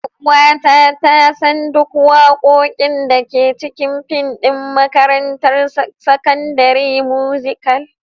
Ƴar'uwata ta san duk waƙoƙin da ke cikin fim ɗin: Makarantar Sakandare Musical.